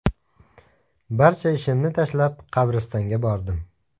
Barcha ishimni tashlab qabristonga bordim.